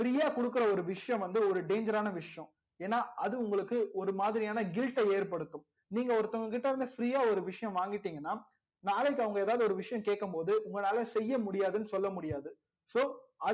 free யா குடுக்குற ஒரு விஷயம் வந்து ஒரு danger ஆனா விஷயம் ஏனா அது உங்களுக்கு ஒரு மாதிரி யான guilt ட ஏற்படுத்தும் நீங்க ஒருத்தவங்க கிட்ட இருந்து free யா ஒரு விஷயம் வாங்கிடிங்கனா நாளைக்கு அவங்க ஒரு விஷயம் கேக்கும் போது உங்களால செய்ய முடியாதுனு சொல்ல முடியாது so